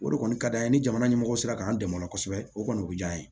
O de kɔni ka d'an ye ni jamana ɲɛmɔgɔ sera k'an dɛmɛ o la kosɛbɛ o kɔni o bɛ diya an ye